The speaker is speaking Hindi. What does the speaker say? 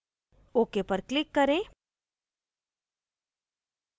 ok पर click करें